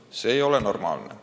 Jah, see ei ole normaalne.